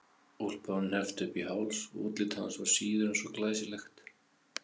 Úlpan var hneppt upp í háls og útlit hans var síður en svo glæsilegt.